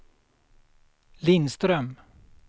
Lindström